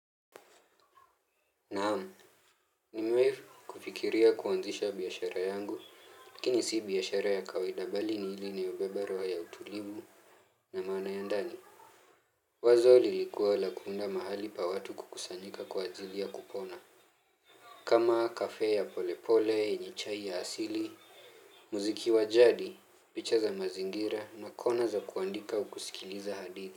Naam. Nimewahi kufikiria kuanzisha biashara yangu, lakini si biashara ya kawaida bali ni il na inayobeba roho ya utulivu na maana ya ndani. Wazo lilikuwa la kuunda mahali pa watu kukusanyika kwa ajili ya kupona. Kama cafe ya polepole, yenye chai ya asili, muziki wa jadi, picha za mazingira na kona za kuandika au kusikiliza hadithi.